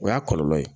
O y'a kɔlɔlɔ ye